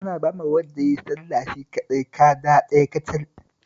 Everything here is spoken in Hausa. Ana bawa wanda ya yi sallah shi kaɗai kada ɗaya kacal